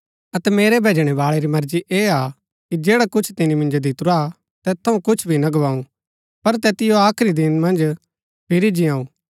अतै मेरै भैजणै बाळै री मर्जी ऐह हा कि जैडा कुछ तिनी मिन्जो दितुरा तैत थऊँ कुछ भी ना गुवाऊँ पर तैतिओ आखरी दिन मन्ज फिरी जिआऊ